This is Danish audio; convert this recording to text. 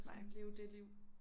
Sådan leve dét liv